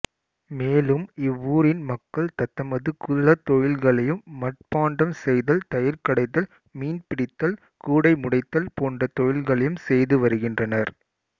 மேலும் இவ்வூரின் மக்கள் தத்தமது குல தொழில்களையும் மட்பாண்டம் செய்தல்தயிர் கடைதல்மீன்பிடித்தல்கூடைமுடைதல் போன்ற தொழில்களையும் செய்து வருகின்றனர்